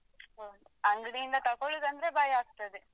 ಓಹ್ ಅಂಗ್ಡಿoದ ತಗೋಳ್ದಾದ್ರೆ ಭಯಾಗ್ತದೆ.